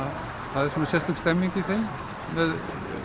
það er sérstök stemning í þeim með